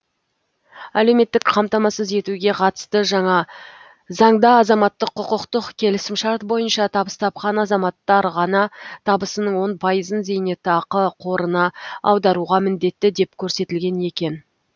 әлеуметтік қамтамасыз етуге қатысты жаңа заңда азаматтық құқықтық келісімшарт бойынша табыс тапқан азаматтар ғана табысының он пайызын зейнетақы қорына аударуға міндетті деп көрсетілген екен